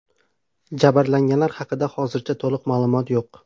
Jabrlanganlar haqida hozircha to‘liq ma’lumot yo‘q.